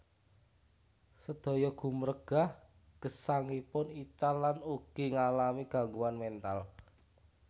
Sedaya gumregah gesangipun ical lan ugi ngalami gangguan mental